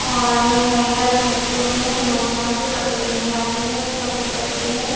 और हैंगर में लटके हुए हैं लोग यहां से कपड़े लेने आते हैं शॉपिंग करते हैं।